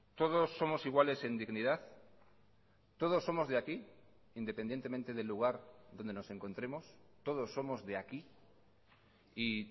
todos somos iguales en dignidad todos somos de aquí independientemente del lugar donde nos encontremos todos somos de aquí y